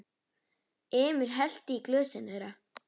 Emil hellti í glösin þeirra.